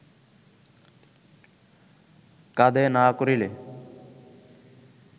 কাঁধে না করিলে